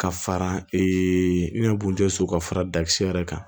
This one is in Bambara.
Ka fara ee ne yɛrɛ kun tɛ so ka fara dakisɛ yɛrɛ kan